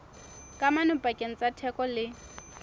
kamano pakeng tsa theko le